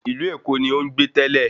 Ìlú Èkó ni ó ń gbé tẹ́lẹ̀